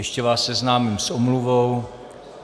Ještě vás seznámím s omluvou.